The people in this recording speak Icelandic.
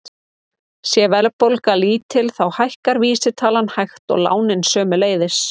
Sé verðbólga lítil þá hækkar vísitalan hægt og lánin sömuleiðis.